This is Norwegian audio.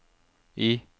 I